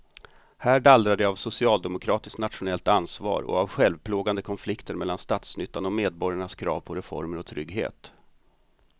Här dallrar det av socialdemokratiskt nationellt ansvar och av självplågande konflikter mellan statsnyttan och medborgarnas krav på reformer och trygghet.